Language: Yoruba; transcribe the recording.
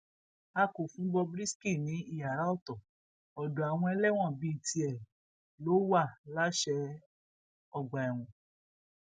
a kò fún bob risky ní iyàrá ọtọ ọdọ àwọn ẹlẹwọn bíi tiẹ ló wàaláṣẹ ọgbà ẹwọn